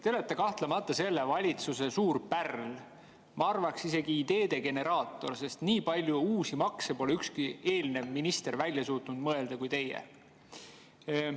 Te olete kahtlemata selle valitsuse suur pärl, ma arvaks isegi, et ideede generaator, sest nii palju uusi makse kui teie pole suutnud välja mõelda ükski eelnev minister.